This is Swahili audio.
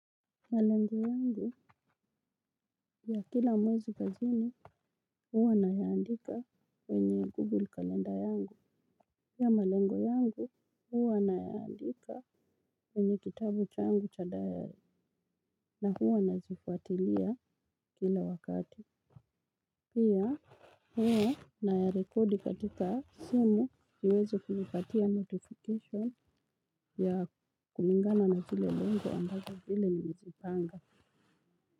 Malengo yangu ya kila mwezi kazini huwa na yaandika kwenye google calendar yangu. Pia malengo yangu huwa na yaandika kwenye kitabu changu cha diary na huwa nazifuatilia kila wakati. Pia huwa na ya record katika simu iweze kunipatia notification ya kulingana na kile lengo ambazo vile nilizipanga.